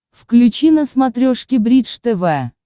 включи на смотрешке бридж тв